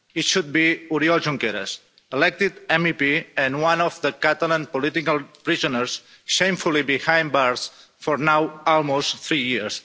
It should be Oriol Junqueras, elected MEP and one of the Catalan political prisoners, shamefully behind bars for now almost three years.